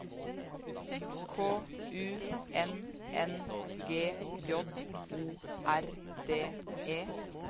K U N N G J O R D E